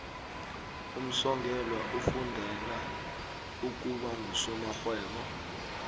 umsongelwa ufundela ukuba ngusomarhwebo